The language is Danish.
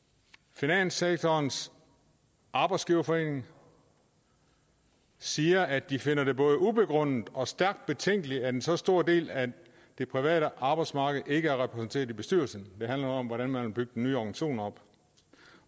finanssektorens arbejdsgiverforening siger at de finder det både ubegrundet og stærkt betænkeligt at en så stor del af det private arbejdsmarked ikke er repræsenteret i bestyrelsen det handler om hvordan man vil bygge den nye organisation op